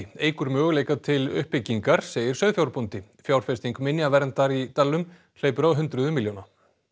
eykur möguleika til uppbyggingar segir sauðfjárbóndi fjárfesting minjaverndar í dalnum hleypur á hundruðum milljóna